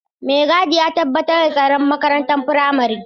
Mai gadi ya tabbatar da tsaron makarantar firamare.